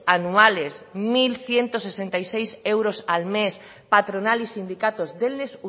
anuales mil ciento sesenta y seis euros al mes patronal y sindicatos denles